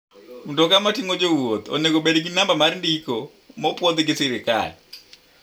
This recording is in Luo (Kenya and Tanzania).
Mtoka mating'o jowuoth oneng'o obed gi namba mar ndiko ma opwodh gi sirkal.